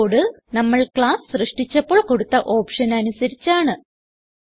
ഈ കോഡ് നമ്മൾ ക്ലാസ് സൃഷ്ടിച്ചപ്പോൾ കൊടുത്ത ഓപ്ഷന് അനുസരിച്ചാണ്